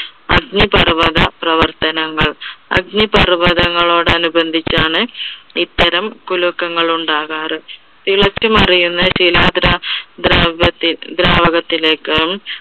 അഗ്നിപർവ്വത പ്രവർത്തനങ്ങൾ. അഗ്നിപർവ്വതങ്ങളോട് അനുബന്ധിച്ചാണ് ഇത്തരം കുലുക്കങ്ങൾ ഉണ്ടാകാറ്. തിളച്ചുമറിയുന്ന ശിലാദ്രാ~ദ്രാവ~ദ്രാവകത്തിലേക്കും